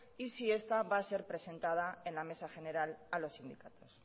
y si esta va a ser presentada en la mesa general a los sindicatos